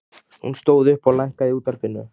Hún stóð upp og lækkaði í útvarpinu.